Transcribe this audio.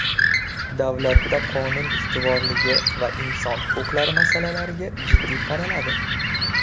Davlatda qonun ustuvorligi va inson huquqlari masalalarga jiddiy qaraladi.